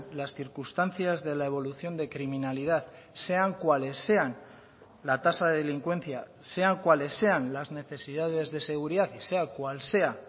las circunstancias de la evolución de criminalidad sean cuales sean la tasa de delincuencia sean cuales sean las necesidades de seguridad y sea cual sea